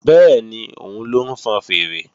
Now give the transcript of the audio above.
Bẹ́ẹ̀ni, òun ló ń fọn fèèrè